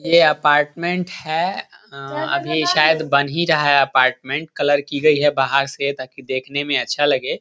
ये अपार्टमेन्ट है उह अभी ये शायद बन ही रहा है अपार्टमेन्ट कलर की गयी है बाहर से ताकि देखने में अच्छा लगे ।